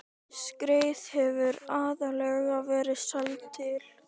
Skreið hefur aðallega verið seld til